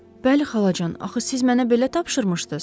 Bəli xalacan, axı siz mənə belə tapşırmışdınız.